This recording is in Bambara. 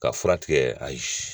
Ka fura tigɛ ayi.